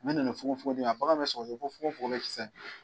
An nana fogo fogo a bagan bɛ